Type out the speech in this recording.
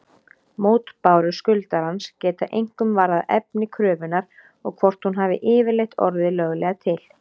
Mótbárur skuldarans geta einkum varðað efni kröfunnar og hvort hún hafi yfirleitt orðið löglega til.